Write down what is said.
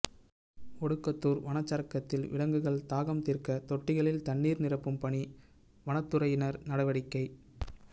ஒடுகத்தூர் வனச்சரகத்தில் விலங்குகள் தாகம் தீர்க்க தொட்டிகளில் தண்ணீர் நிரப்பும் பணி வனத்துறையினர் நடவடிக்கை